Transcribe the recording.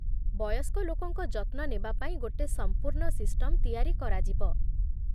ବୟସ୍କ ଲୋକଙ୍କ ଯତ୍ନ ନେବା ପାଇଁ ଗୋଟେ ସମ୍ପୂର୍ଣ୍ଣ ସିଷ୍ଟମ୍ ତିଆରି କରାଯିବ ।